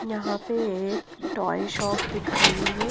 यहां पे एक टॉय शॉप दिख रही है।